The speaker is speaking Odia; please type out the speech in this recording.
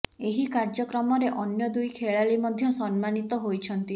ଏହି କାର୍ଯ୍ୟକ୍ରମରେ ଅନ୍ୟ ଦୁଇ ଖେଳାଳି ମଧ୍ୟ ସମ୍ମାନିତ ହୋଇଛନ୍ତି